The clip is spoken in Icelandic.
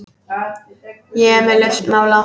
Ég er með lausn mála!